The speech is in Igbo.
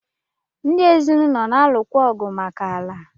Ndi ezinụlọ na-alụkwa ọgụ maka ala.